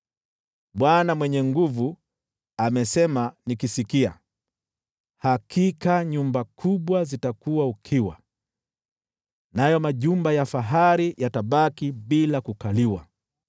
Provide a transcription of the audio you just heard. Bwana Mwenye Nguvu Zote amesema nikisikia: “Hakika nyumba kubwa zitakuwa ukiwa, nayo majumba ya fahari yatabaki bila kukaliwa.